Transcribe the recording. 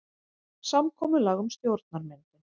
Samkomulag um stjórnarmyndun